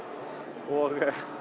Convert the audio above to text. og